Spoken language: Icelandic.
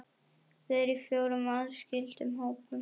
Þau eru í fjórum aðskildum hópum.